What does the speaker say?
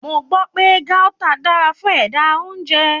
Mo gbọ́ pé Gauta dára fún ẹ̀dà-oúnjẹ.